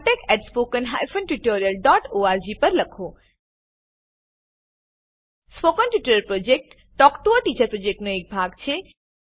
spoken tutorial project talk to a teacher પ્રોજેક્ટનો એક ભાગ છે